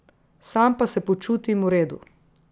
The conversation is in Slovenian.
Sam pa se počutim v redu.